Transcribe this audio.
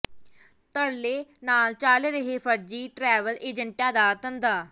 ਧੜੱਲੇ ਨਾਲ ਚੱਲ ਰਿਹੈ ਫ਼ਰਜ਼ੀ ਟਰੈਵਲ ਏਜੰਟਾਂ ਦਾ ਧੰਦਾ